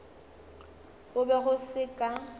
go be go se ka